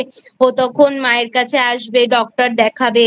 ও তখন মায়ের কাছে আসবে Doctor দেখাবে